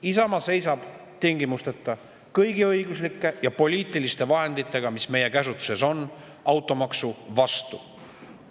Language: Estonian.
Isamaa seisab tingimusteta, kõigi õiguslike ja poliitiliste vahenditega, mis meie käsutuses on, automaksu vastu.